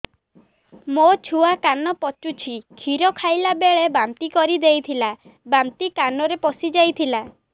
ମୋ ଛୁଆ କାନ ପଚୁଛି କ୍ଷୀର ଖାଇଲାବେଳେ ବାନ୍ତି କରି ଦେଇଥିଲା ବାନ୍ତି କାନରେ ପଶିଯାଇ ଥିଲା